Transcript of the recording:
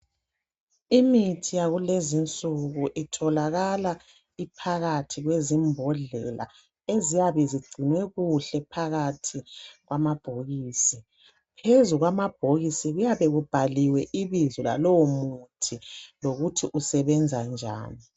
Imithi yakulezinsuku kutholakala iphakathi kwamambodlela eziyabe zigcinwe kuhle kumabhokisi. Phezu kwamabhokisi kuyabe kubhaliwe ibizo. lalowo muthi lokuthi usebenza njani.